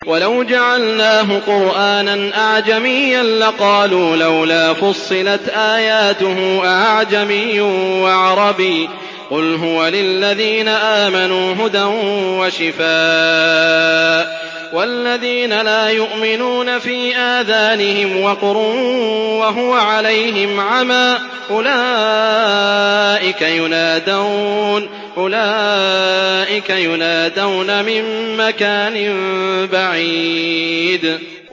وَلَوْ جَعَلْنَاهُ قُرْآنًا أَعْجَمِيًّا لَّقَالُوا لَوْلَا فُصِّلَتْ آيَاتُهُ ۖ أَأَعْجَمِيٌّ وَعَرَبِيٌّ ۗ قُلْ هُوَ لِلَّذِينَ آمَنُوا هُدًى وَشِفَاءٌ ۖ وَالَّذِينَ لَا يُؤْمِنُونَ فِي آذَانِهِمْ وَقْرٌ وَهُوَ عَلَيْهِمْ عَمًى ۚ أُولَٰئِكَ يُنَادَوْنَ مِن مَّكَانٍ بَعِيدٍ